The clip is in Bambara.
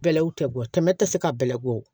Bɛlɛw tɛ bɔ tɛmɛ tɛ se ka bɛlɛ bɔ